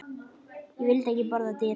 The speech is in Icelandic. Ég vil ekki borða dýrin.